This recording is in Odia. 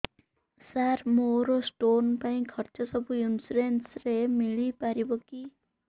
ସାର ମୋର ସ୍ଟୋନ ପାଇଁ ଖର୍ଚ୍ଚ ସବୁ ଇନ୍ସୁରେନ୍ସ ରେ ମିଳି ପାରିବ କି